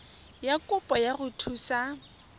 ya kopo go go thusa